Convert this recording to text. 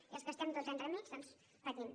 i els que estem entremig doncs patint